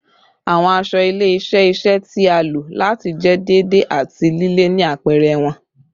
Awọn aṣọ ile-iṣẹ iṣẹ ti a lo lati jẹ deede ati lile ni apẹrẹ wọn